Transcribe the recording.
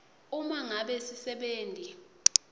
uma ngabe sisebenti